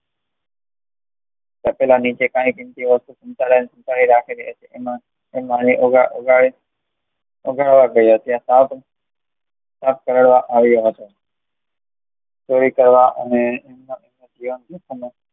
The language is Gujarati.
તપેલા નીચે કઈ કિંમતી વસ્તુ સંતાડી રાખે છે એટલે કે એમાં ઉઘાડું તેમાં સાપ કરડવા આવ્યો હતો ચોરી કરવા અને